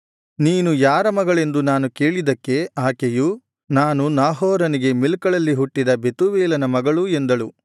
ನೀನು ಯಾರ ಮಗಳೆಂದು ನಾನು ಕೇಳಿದ್ದಕ್ಕೆ ಆಕೆಯು ನಾನು ನಾಹೋರನಿಗೆ ಮಿಲ್ಕಳಲ್ಲಿ ಹುಟ್ಟಿದ ಬೆತೂವೇಲನ ಮಗಳು ಎಂದಳು